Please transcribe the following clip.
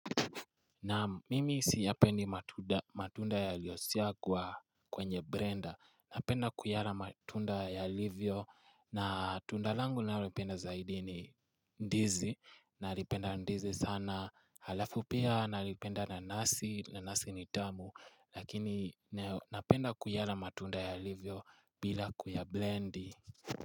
Na mimi siyapendi matunda yaliosagwa. Kwenye brenda, napenda kuyala matunda yalivyo, na tunda langu nalipenda zaidi ni ndizi, nalipenda ndizi sana, halafu pia, nalipenda nanasi, nanasi ni tamu. Lakini napenda kuyala matunda yalivyo bila kuyablendi.